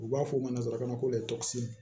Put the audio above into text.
U b'a fɔ o ma nanzara ko